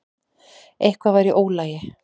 Eitthvað var í ólagi.